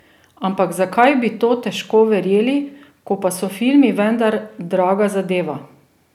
Ampak zakaj bi to težko verjeli, ko pa so filmi vendar draga zadeva?